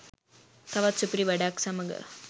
තවත් සුපිරි වැඩක් සමග